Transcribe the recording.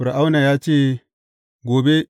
Fir’auna ya ce, Gobe.